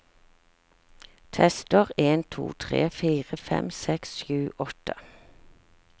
Tester en to tre fire fem seks sju åtte